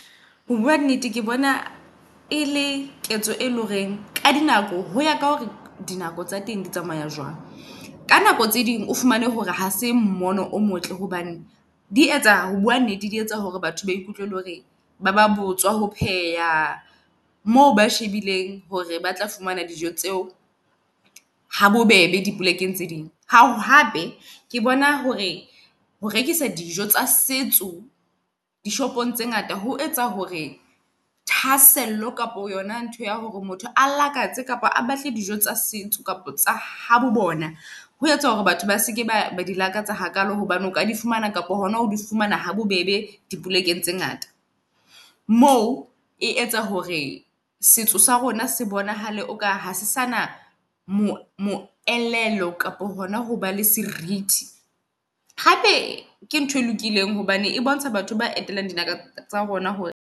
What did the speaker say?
Ho bua nnete, ke bona e le ketso e leng horeng ka di nako hoya ka hore di nako tsa teng di tsamaya jwang. Ka nako tse ding o fumane hore ha se mmono o motle hobane di etsa ho bua nnete di etsa hore batho ba ikutlwe le hore ba ba botswa ho pheha moo ba shebileng hore ba tla fumana dijo tseo ha bo bebe di polekeng tse ding. Hape ke bona hore ho rekisa dijo tsa setso di shopong tse ngata ho etsa hore thahasello kapo yona ntho ya hore motho a lakatse kapa a batle dijo tsa setso kapa tsa habo bona. Ho etsa hore batho ba seke ba di lakatsa hakalo hobane o ka di fumana kapa hona ho di fumana habobebe di polekeng tse ngata. Moo e etsa hore setso sa rona se bonahale o kare ha se sana moelelo kapo hona hoba le seriti. Hape ke ntho e lokileng hobane e bontsha batho ba etelang dibaka tsa rona hore.